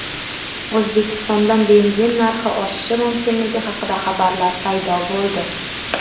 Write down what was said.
O‘zbekistonda benzin narxi oshishi mumkinligi haqida xabarlar paydo bo‘ldi .